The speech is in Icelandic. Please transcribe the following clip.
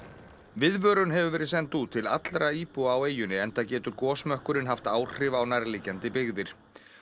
viðvörun hefur verið send út til allra íbúa á eyjunni enda getur gosmökkurinn haft áhrif á nærliggjandi byggðir